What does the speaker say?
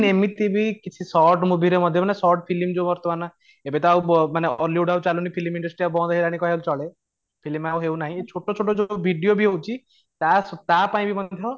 ଏମିତି ବି କିଛି short movie ରେ ମଧ୍ୟ ମାନେ short ଫିଲ୍ମ ରେ ଯୋଉ ବର୍ତ୍ତମାନ ଏବେ ତା ଆଉ ବ ଉ ମାନେ hollywood ଆଉ ଚାଲୁନି ଫିଲ୍ମ industry ବନ୍ଦ ହେଇଗଲାଣି କହିବାକୁ ଗଲେ ଚଳେ film ଆଉ ହଉନାହିଁ ଏଇ ଛୋଟ ଛୋଟ ଯୋଉ video ବି ହଉଛି ତା ତା ପାଇଁ ମଧ୍ୟ